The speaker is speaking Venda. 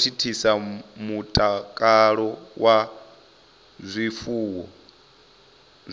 thithisa mutakalo wa zwifuwo